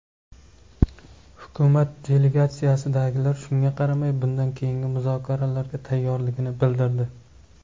Hukumat delegatsiyasidagilar shunga qaramay, bundan keyingi muzokaralarga tayyorligini bildirdi.